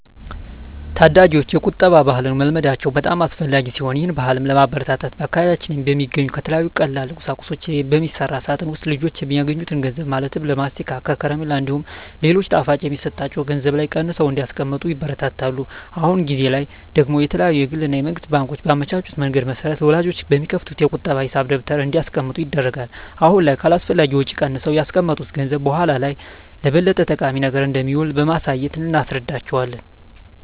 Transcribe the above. ታዳጊወች የቁጠባ ባህልን መልመዳቸው በጣም አስፈላጊ ሲሆን ይህን ባህልም ለማበረታታት በአካባቢያችን በሚገኙ ከተለያዩ ቀላል ቁሳቁሶች በሚሰራ ሳጥን ውስጥ ልጆች የሚያገኙትን ገንዘብ ማለትም ለማስቲካ፣ ከረሜላ እንዲሁም ሌሎች ጣፋጮች የሚሰጣቸው ገንዘብ ላይ ቀንሰው እንዲያስቀምጡ ይበረታታሉ። አሁን ጊዜ ላይ ደግሞ የተለያዩ የግል እና የመንግስት ባንኮች ባመቻቹት መንገድ መሰረት ወላጆች በሚከፍቱት የቁጠባ ሂሳብ ደብተር እንዲያስቀምጡ ይደረጋል። አሁን ላይ ከአላስፈላጊ ወጪ ቀንሰው ያስቀመጡት ገንዘብ በኃላ ላይ ለበለጠ ጠቃሚ ነገር እንደሚውል በማሳየት እናስረዳቸዋለን።